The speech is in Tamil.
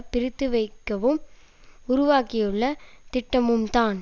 பிரித்துவைக்கவும் உருவாக்கியுள்ள திட்டமும்தான்